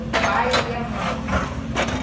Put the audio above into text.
O pai e a mãe.